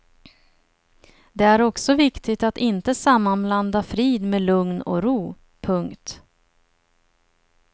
Det är också viktigt att inte sammanblanda frid med lugn och ro. punkt